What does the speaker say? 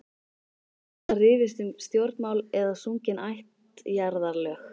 Ýmist var rifist um stjórnmál eða sungin ættjarðarlög.